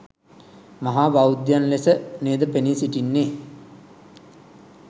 මහා බෞද්ධයන් ලෙස නේද පෙනී සිටින්නේ?